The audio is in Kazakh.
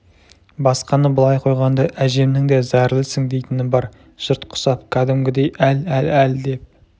басқаны былай қойғанда әжемнің де зәрлісің дейтіні бар жұрт құсап кәдімгідей әл әл әл деп